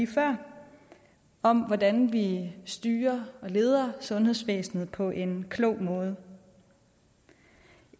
før om hvordan vi styrer og leder sundhedsvæsenet på en klog måde